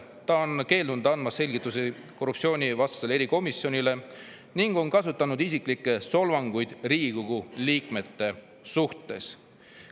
Ta on keeldunud andmast selgitusi korruptsioonivastasele erikomisjonile ning on kasutanud isiklikke solvanguid Riigikogu liikmete suhtes.